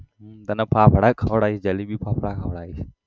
હમ તને ફાફડા ખવડાઇસ જલેબી ફાફડા ખવડાઇસ